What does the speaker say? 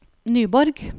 Nyborg